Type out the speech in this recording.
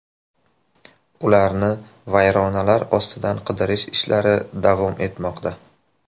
Ularni vayronalar ostidan qidirish ishlari davom etmoqda.